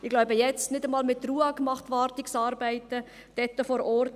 Ich glaube, jetzt macht nicht einmal mehr die Ruag Wartungsarbeiten vor Ort.